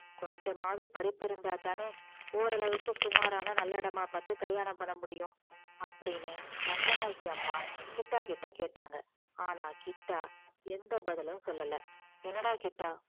கொஞ்சமாவது படிப்பு இருந்தாதானே ஓரளவுக்கு சுமாரான நல்ல இடமா பார்த்து கல்யாணம் பண்ண முடியும் அப்படின்னு ரங்கநாயகி அம்மா கிட்டா கிட்ட கேட்டாங்க ஆனா கிட்டா எந்த பதிலும் சொல்லல என்னடா கிட்டா